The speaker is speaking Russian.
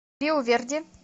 риу верди